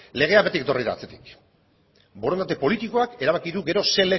legeak beti etorri da atzetik borondate politikoak erabaki du gero zer